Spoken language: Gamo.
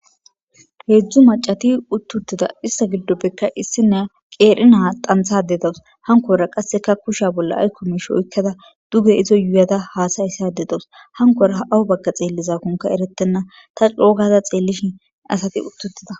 Hedzdzu maccati utti uttida ista giddoppeka issiniya qeeri na dhanththada dawis.hankora qasseka kusha bolla ayko mishsha oykada duge izo yuyada hasaysada dawis.hakora aw baga xelizakonika eretena. ta coo gada xeelishin hasati utti uttida.